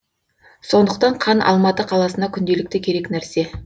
сондықтан қан алматы қаласына күнделікті керек нәрсе